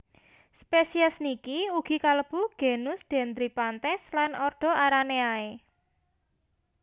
Spesies niki ugi kalebu genus Dendryphantes lan ordo Araneae